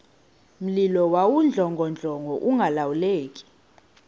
mlilo wawudlongodlongo ungalawuleki